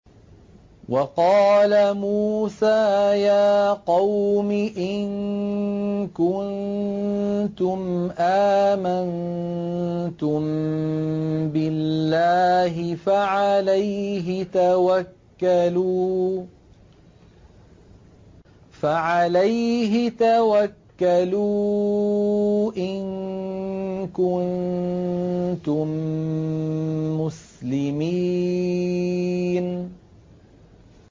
وَقَالَ مُوسَىٰ يَا قَوْمِ إِن كُنتُمْ آمَنتُم بِاللَّهِ فَعَلَيْهِ تَوَكَّلُوا إِن كُنتُم مُّسْلِمِينَ